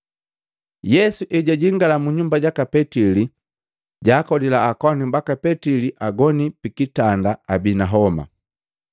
Yesu ejajingala mu nyumba jaka Petili, jaakolila akowanu baka Petili agoni pikitanda abii na homa.